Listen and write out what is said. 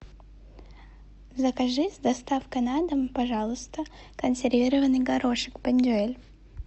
закажи с доставкой на дом пожалуйста консервированный горошек бондюэль